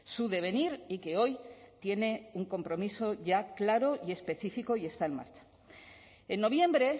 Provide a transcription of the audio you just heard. su devenir y que hoy tiene un compromiso ya claro y específico y está en marcha en noviembre